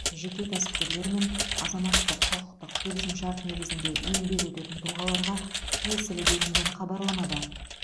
жеке кәсіпкерлер мен азаматтық құқықтық келісімшарт негізінде еңбек ететін тұлғаларға тиесілі делінген хабарламада